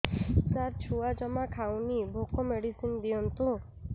ସାର ଛୁଆ ଜମା ଖାଉନି ଭୋକ ମେଡିସିନ ଦିଅନ୍ତୁ